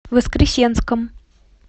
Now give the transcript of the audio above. воскресенском